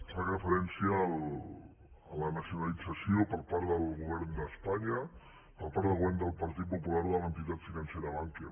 fa referència a la nacionalització per part del govern d’espanya per part del govern del partit popular de l’entitat financera bankia